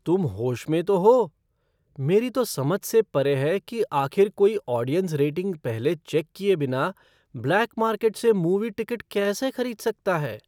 तुम होश में तो हो? मेरी तो समझ से परे है कि आखिर कोई ऑडियंस रेटिंग पहले चेक किए बिना ब्लैक मार्केट से मूवी टिकट कैसे खरीद सकता है?